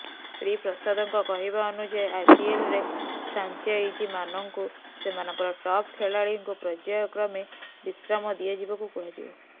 ଶ୍ରୀ ପ୍ରସାଦଙ୍କ କହିବା ଅନୁଯାୟୀ ଆଇପିଏଲ୍ରେ ଫ୍ରାଞ୍ଚାଇଜିମାନଙ୍କୁ ସେମାନଙ୍କର ଟପ୍ ଖେଳାଳିଙ୍କୁ ପର୍ଯ୍ୟାୟକ୍ରମେ ବିଶ୍ରାମ ଦିଆଯିବାକୁ କୁହାଯିବ